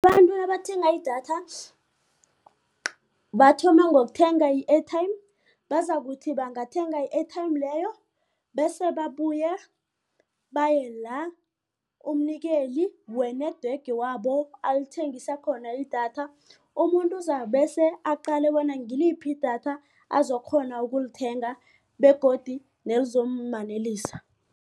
Abantu nabathenga idatha bathoma ngokuthenga i-airtime bazokuthi bangathenga i-airtime leyo bese babuye baye la umnikeli we-network wabo alithengisa khona idatha umuntu uzabe bese aqale bona ngiliphi idatha azokukghona ukulithenga begodu nelizomanelisa.